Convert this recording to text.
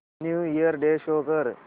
new year day show कर